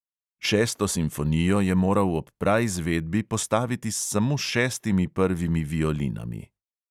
Šesto simfonijo je moral ob praizvedbi postaviti s samo šestimi prvimi violinami.